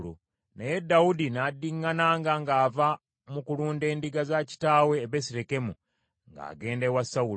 naye Dawudi n’addiŋŋananga ng’ava mu kulunda endiga za kitaawe e Besirekemu, ng’agenda ewa Sawulo.